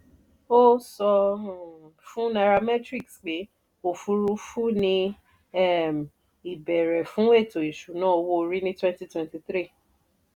ó sọ fún nairametrics pé òfurufú ni um ìbẹ̀rẹ̀ fún ètò ìṣúná owó-orí ní twenty twenty three.